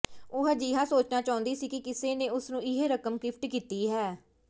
ਉਹ ਅਜਿਹਾ ਸੋਚਣਾ ਚਾਹੁੰਦੀ ਸੀ ਕਿ ਕਿਸੇ ਨੇ ਉਸ ਨੂੰ ਇਹ ਰਕਮ ਗਿਫ਼ਟ ਕੀਤੀ ਹੈ